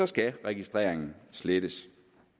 skal registreringen slettes